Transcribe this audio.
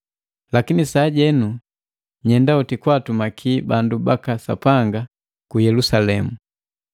Lakini sajenu nyenda hoti kwa atumaki bandu baka Sapanga ku Yelusalemu.